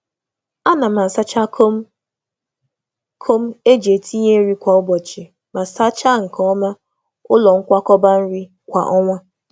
A na m asacha akpa nri kwa ụbọchị ma na-asacha ebe nchekwa nri n’ike kwa ọnwa.